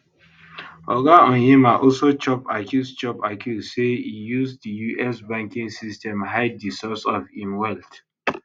oga onyema also chop accuse chop accuse say e use di us banking system hide di source of im wealth